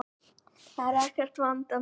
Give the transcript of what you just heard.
Það var ekkert vandamál.